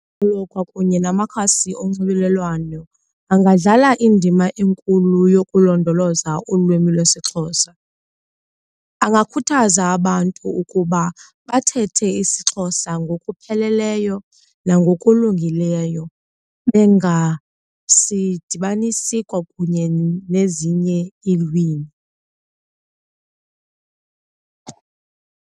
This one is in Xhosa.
kwakunye namakhasi onxibelelwano angadlala indima enkulu yokulondoloza ulwimi lwesiXhosa, angakhuthaza abantu ukuba bathethe isiXhosa ngokupheleleyo nangokulungileyo bengasidibanisi kwakunye nezinye iilwimi.